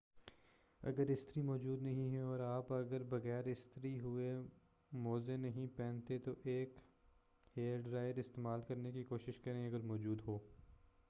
اگر استری موجود نہیں ہے اور آپ اگر آپ بغیر استری ہوئے موزے نہیں پہنتے تو ایک ہیئر ڈرائر استعمال کرنے کی کوشش کریں اگر موجو ہو